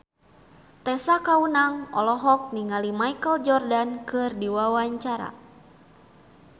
Tessa Kaunang olohok ningali Michael Jordan keur diwawancara